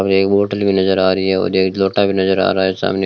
हमे एक बोटल भी नज़र आ रही है और एक लोटा भी नज़र आ रहा है सामने --